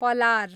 Palar